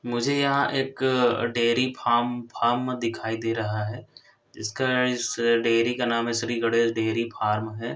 मुझे यहाँ एक डेरी फार्म फार्म दिखाई दे रहा है इसका इस डेरी का नाम है श्रीं गणेश डेरी फार्म है।